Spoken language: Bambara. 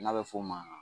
N'a bɛ f'o ma